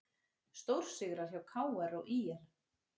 Stórsigrar hjá KR og ÍR